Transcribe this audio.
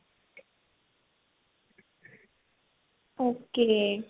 okay